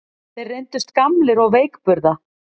Þeir reyndust gamlir og veikburða